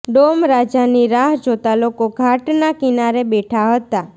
dome રાજાની રાહ જોતા લોકો ઘાટના કિનારે બેઠા હતા